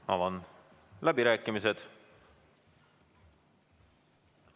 Avan läbirääkimised.